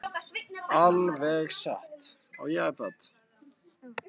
Alveg satt?